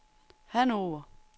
Hannover